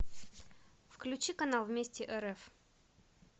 включи канал вместе рф